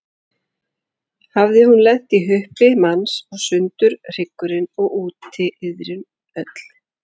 Hafði hún lent í huppi manns og sundur hryggurinn, og úti iðrin öll.